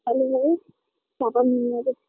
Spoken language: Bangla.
ভালোই হবে টাকা